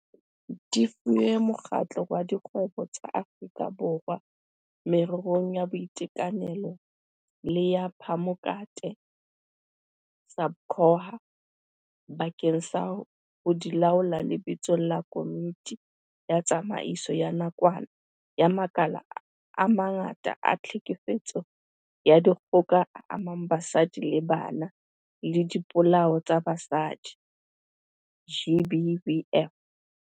Di fuwe Mokgatlo wa Dikgwebo tsa Aforika Borwa Mererong ya Boitekanelo le ya Phamokate, SABCOHA, bakeng sa ho di laola lebitsong la Komiti ya Tsamaiso ya Nakwana ya makala a mangata a tlhekefetso ya dikgoka e amang basadi le bana le dipolao tsa basadi, GBVF.